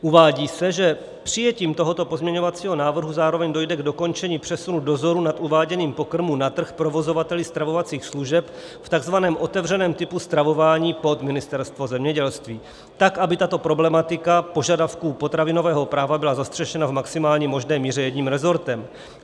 Uvádí se, že přijetím tohoto pozměňovacího návrhu zároveň dojde k dokončení přesunu dozoru nad uváděním pokrmu na trh provozovateli stravovacích služeb v takzvaném otevřeném typu stravování pod Ministerstvo zemědělství tak, aby tato problematika požadavků potravinového práva byla zastřešena v maximálně možné míře jedním resortem.